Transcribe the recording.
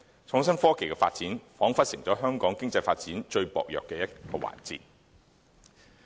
創新科技的發展，彷彿成為香港經濟發展最薄弱的環節。